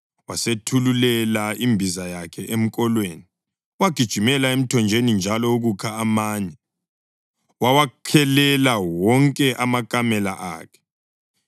Wasethululela imbiza yakhe emkolweni, wagijimela emthonjeni njalo ukukha amanye, wawakhelela wonke amakamela akhe.